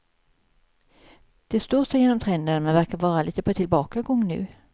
Det står sig genom trenderna, men verkar vara lite på tillbakagång nu.